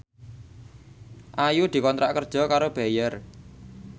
Ayu dikontrak kerja karo Bayer